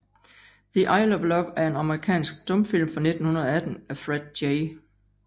The Isle of Love er en amerikansk stumfilm fra 1918 af Fred J